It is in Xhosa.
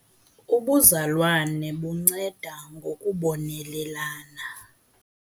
Ubuzalwane bunceda ngokubonelelana.